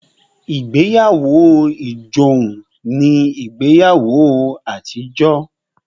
Ìgbéyàwó ijohun ní ìgbéyàwó àtijọ́